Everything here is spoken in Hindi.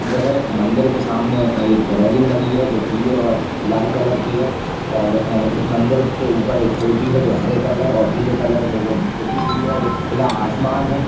मंदिर है। मंदिर के सामने एक रेलिंग लगी है जो पीले और लाल कलर की है और इस मंदिर के ऊपर एक चोटी है जो हरे कलर और पीले कलर से जो पुती हुई है और एक खुला आसमान है।